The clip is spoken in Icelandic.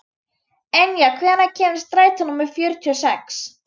Enja, hvenær kemur strætó númer fjörutíu og sex?